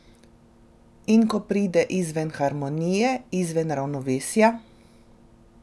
In kako pride izven harmonije, izven ravnovesja?